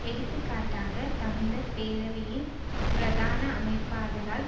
எடுத்து காட்டாக தமிழர் பேரவையின் பிரதான அமைப்பாளரால்